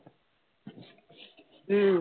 உம்